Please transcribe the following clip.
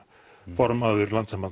formaður